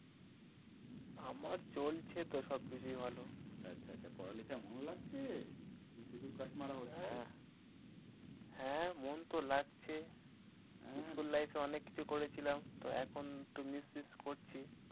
আমার চলছে তো সবকিছুই হলো, আচ্ছা আচ্ছা, পড়ালেখায় মন লাগছে কি শুধুই crush মারা হচ্ছে উম হ্যাঁ মন তো লাগছ উম school life এ তো অনেক কিছু করেছিলাম, তো এখন একটু miss করছি।